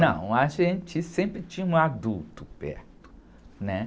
Não, a gente sempre tinha um adulto perto, né?